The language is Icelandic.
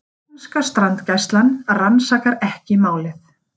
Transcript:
Og japanska strandgæslan rannsakar ekki málið